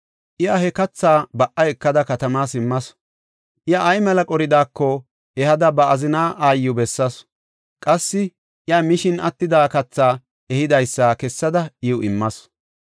Iya he katha ba77a ekada katama simmasu; iya ay mela qoridaako ehada ba azina aayiw bessasu. Qassi iya mishin attida kathi ehidaysa kessada iw immasu.